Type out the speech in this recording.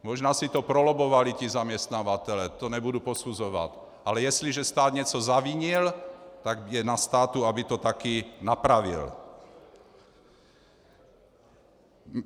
Možná si to prolobbovali ti zaměstnavatelé, to nebudu posuzovat, ale jestliže stát něco zavinil, tak je na státu, aby to taky napravil.